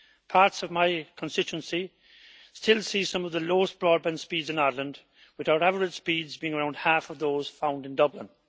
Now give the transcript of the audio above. Parts of my constituency still see some of the lowest broadband speeds in Ireland, with our average speeds being around half of those found in Dublin.